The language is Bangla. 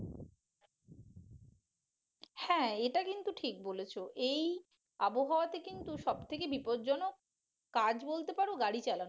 হ্যাঁ এটা কিন্তু ঠিক বলেছ এই আবহাওয়াতে কিন্তু সবথেকে বিপদজনক কাজ বলতে পারো গাড়ি চালানো